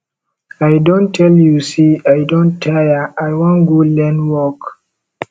i don tell you say i don tire i wan go learn work